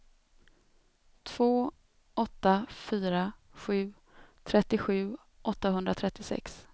två åtta fyra sju trettiosju åttahundratrettiosex